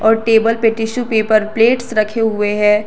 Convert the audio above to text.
और टेबल पे tissue paper plates रखे हुए हैं।